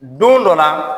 Don dɔ la